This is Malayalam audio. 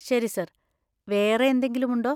ശരി സർ, വേറെ എന്തെങ്കിലുമുണ്ടോ?